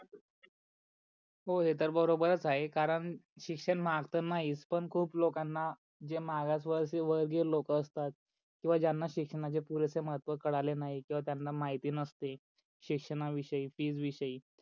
हो हे तर बरोबरच आहे कारण शिक्षण महाग तर नाहीच पण खूप लोकांना जे मागासवर्गीय लोक असतात किवा ज्यांना शिक्षणाचे पुरेसे महत्व कळाले नाही किवा त्यांना माहिती नसते शिक्षणा विषयी फी विषयी